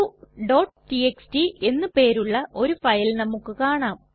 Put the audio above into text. faqടിഎക്സ്ടി എന്ന് പേരുള്ള ഒരു ഫയൽ നമുക്ക് കാണാം